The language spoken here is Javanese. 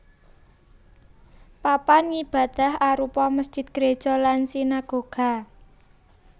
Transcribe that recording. Papan ngibadah arupa mesjid gréja lan sinagoga